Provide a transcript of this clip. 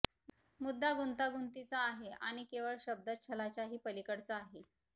मुद्दा गुंतागुंतीचा आहे आणि केवळ शब्दच्छलाच्याही पलिकडचा आहे